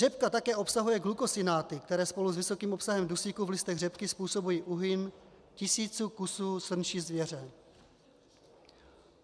Řepka také obsahuje glukosinoláty, které spolu s vysokým obsahem dusíku v listech řepky způsobují úhyn tisíců kusů srnčí zvěře.